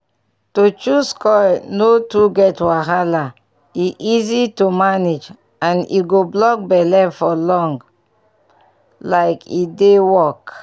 to choose coil no too get wahala — e easy to manage and e go block belle for long like e dey work!